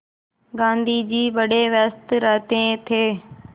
गाँधी जी बड़े व्यस्त रहते थे